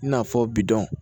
I n'a fɔ bidɔn